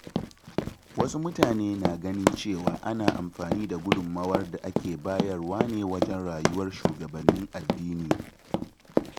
Wasu mutane na ganin cewa ana amfani da gudunmawar da ake bayarwa ne wajen rayuwar shugabannin addini.